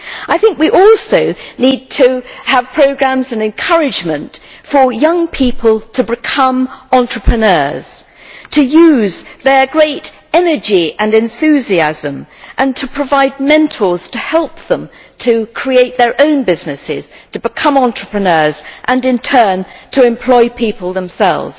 I think we also need to have programmes and encouragement for young people to become entrepreneurs, to use their great energy and enthusiasm, and to provide mentors to help them to create their own businesses, become entrepreneurs and, in turn, employ people themselves.